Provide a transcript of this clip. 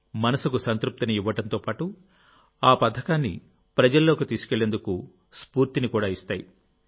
మనసుకు సంతృప్తిని ఇవ్వడంతోపాటు ఆ పథకాన్ని ప్రజల్లోకి తీసుకెళ్లేందుకు స్ఫూర్తిని కూడా ఇస్తాయి